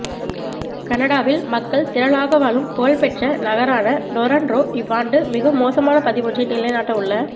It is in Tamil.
கனடாவில் மக்கள் திரளாக வாழும் புகழ்பெற்ற நகரான ரொறன்ரோ இவ்வாண்டு மிக மோசமான பதிவொன்றை நிலைநாட்டவுள்ள